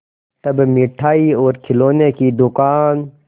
तब मिठाई और खिलौने की दुकान